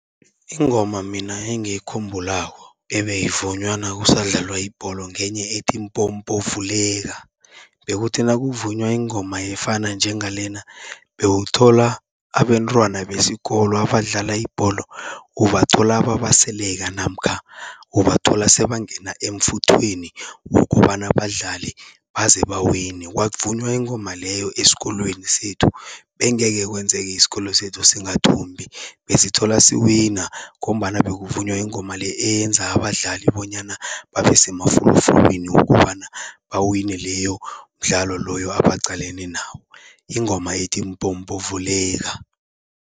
Ingoma mina engiyikhumbulako ebeyivunywa nakusadlalwa ibholo ngenye ethi mpompo vuleka, bekuthi nakuvunywa ingoma efana njengalena, bewuthola abentwana besikolo abadlala ibholo, ubathola babaseleka namkha ubathola sebangena emfuthweni wokobana badlale baze bawine. Kwavunywa ingoma leyo esikolweni sethu, bengekhe kwenzeke isikolo sethu singathumbi, besithola siwina ngombana bekuvunywa ingoma le, eyenza abadlali bonyana babe semafulufulwini wokobana bawine leyo mdlalo loyo abaqalene nawo. Ingoma ethi mpompo vuleka.